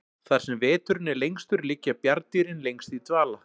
þar sem veturinn er lengstur liggja bjarndýrin lengst í dvala